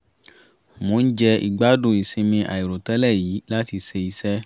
mò ń jẹ ìgbádùn ìsinmi àìrò tẹ́lẹ̀ yìí láti ṣe iṣẹ́